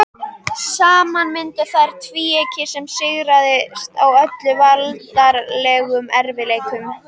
Saman mynduðu þær tvíeyki sem sigraðist á öllum veraldlegum erfiðleikum.